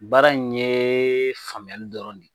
Baara in ye faamuyali dɔrɔn de ye